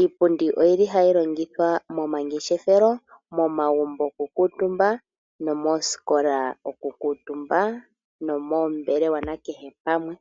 Iipundi oyili hayi longithwa momangeshefelo , momagumbo oku kuutumba, nomoosikola oku kuutumba nomoombelewa nakehe pamwe.